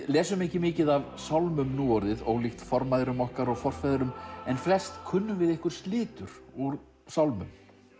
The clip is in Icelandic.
lesum ekki mikið af sálmum núorðið ólíkt formæðrum okkar og forfeðrum en flest kunnum við einhver slitur úr sálmum